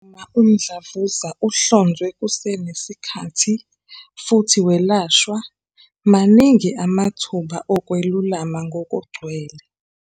Uma umdlavuza uhlonzwe kusenesikhathi futhi welashwa, maningi amathuba okwelulama ngokugcwele.